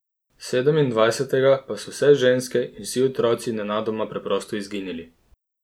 Sedemindvajsetega pa so vse ženske in vsi otroci nenadoma preprosto izginili.